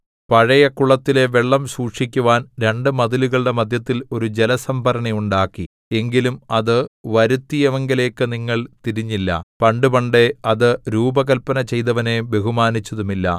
പഴയ കുളത്തിലെ വെള്ളം സൂക്ഷിക്കുവാൻ രണ്ടു മതിലുകളുടെ മദ്ധ്യത്തിൽ ഒരു ജലസംഭരണി ഉണ്ടാക്കി എങ്കിലും അത് വരുത്തിയവങ്കലേക്കു നിങ്ങൾ തിരിഞ്ഞില്ല പണ്ടുപണ്ടേ അത് രൂപകല്പന ചെയ്തവനെ ബഹുമാനിച്ചതുമില്ല